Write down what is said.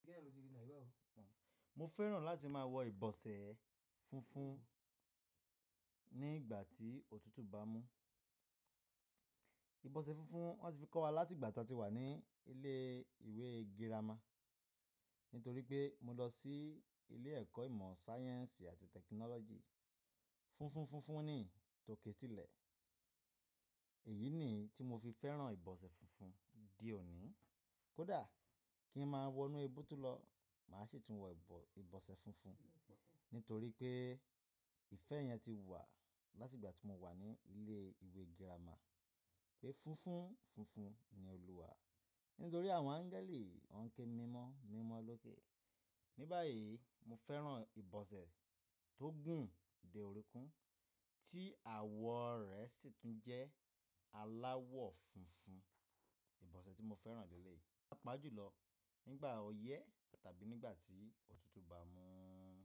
Kíni ẹni tó ti rí Naijabo? Mo fẹ́ràn láti máa wọ ibọsẹ funfun nígbà tí òtútù bá mú. Ibọsẹ funfun wọ́n ti fi kọ́ wa láti ìgbà tí a ti wà ní ilé ìwé girama. Nítorí pé mo lọ sí ilé ẹ̀kọ́ ìmọ̀ sáyẹ́ǹsì àti tẹkinọ́lọ́jì funfun funfun ni tòketì lè. Èyí niyi tí mo fi fẹ́ràn ibọsẹ funfun di òní. Kódà kí ń máa wọnú ebu tún lọ, màá sì tún wọ ibọsẹ funfun nítorí pé ìfẹ́ yẹn ti wà láti ìgbà tí mo wà ní ilé ìwé girama pé funfun funfun ni Olúwa. Nítorí àwọn áńgẹ́lì, wọ́n ń ke mímọ́, mímọ́ lókè. Ní báyìí, mo fẹ́ràn ibọsẹ tó gùn dé òrùnkún tí àwọ̀ rẹ̀ sì tún jẹ́ aláwọ̀ funfun. Ibọsẹ tí mo fẹ́ràn júlọ nígbà ọyẹ́ tàbí nígbà tí òtútù bá mú.